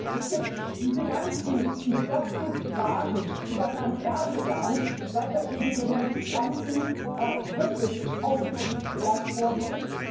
Es gibt diese ganzen bigotten Klagen über Herrn Erdogan, seit er gegen Demonstranten wirklich autoritär vorgeht.